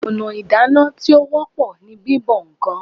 Ọ̀nà ìdáná tí ó wọ́pọ̀ ni bíbọ ǹkan